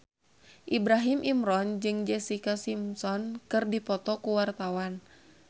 Ibrahim Imran jeung Jessica Simpson keur dipoto ku wartawan